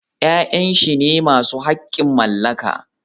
Ya'yan shi ne masu haƙƙin mallaka